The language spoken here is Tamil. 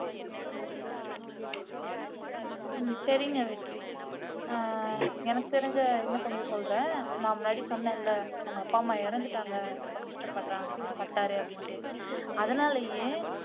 ஹம் சரிங்க வெற்றி ஆஹ் எனக்கு தெரிஞ்ச இன்னும் கொஞ்சம் சொல்றேன் நான் முன்னாடி சொன்னன்ல உங்க அப்பா அம்மா இறந்துட்டாங்க ரொம்ப கஷ்டப்படுறாங்க பட்டாரு அப்படின்னுட்டு அதனாலேயே